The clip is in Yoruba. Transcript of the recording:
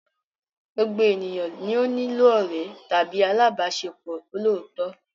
Gbogbo ènìyàn ni ó nílò ọ̀rẹ́ tàbí alábàáṣepọ̀ olóòótọ́.